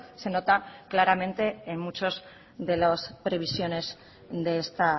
se nota claramente en muchos de las previsiones de esta